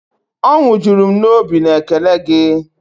Ọnwụ jụrụ m obi na ékélé gi